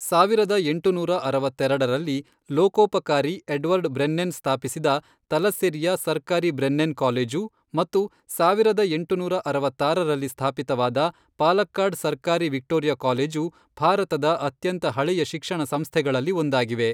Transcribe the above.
ಸಾವಿರದ ಎಂಟುನೂರ ಅರವತ್ತೆರಡರಲ್ಲಿ, ಲೋಕೋಪಕಾರಿ ಎಡ್ವರ್ಡ್ ಬ್ರೆನ್ನೆನ್ ಸ್ಥಾಪಿಸಿದ ತಲಸ್ಸೆರಿಯ ಸರ್ಕಾರಿ ಬ್ರೆನ್ನೆನ್ ಕಾಲೇಜು ಮತ್ತು ಸಾವಿರದ ಎಂಟುನೂರ ಅರವತ್ತಾರರಲ್ಲಿ ಸ್ಥಾಪಿತವಾದ ಪಾಲಕ್ಕಾಡ್ ಸರ್ಕಾರಿ ವಿಕ್ಟೋರಿಯಾ ಕಾಲೇಜು ಭಾರತದ ಅತ್ಯಂತ ಹಳೆಯ ಶಿಕ್ಷಣ ಸಂಸ್ಥೆಗಳಲ್ಲಿ ಒಂದಾಗಿವೆ.